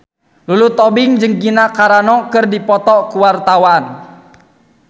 Lulu Tobing jeung Gina Carano keur dipoto ku wartawan